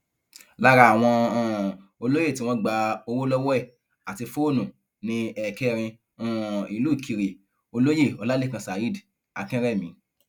lára àwọn um olóyè tí wọn gba owó lọwọ ẹ àti fóònù ni ẹkẹrin um ìlú ìkìrẹ olóye ọlálẹkan saheed akínrẹmì